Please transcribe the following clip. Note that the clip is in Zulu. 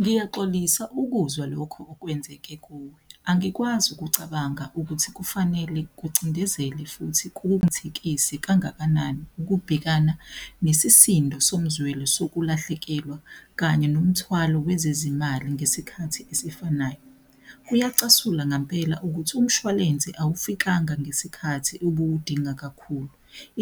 Ngiyaxolisa ukuzwa lokho okwenzeke kuwe, angikwazi ukucabanga ukuthi kufanele kucindezele futhi kowenzekise kangakanani ukubhekana nesisindo somzwelo sokulahlekelwa kanye nomthwalo wezezimali ngesikhathi esifanayo. Kuyacasula ngampela ukuthi umshwalense awufikanga ngesikhathi obuwudinga kakhulu,